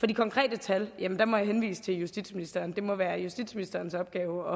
de konkrete tal må jeg henvise til justitsministeren det må være justitsministerens opgave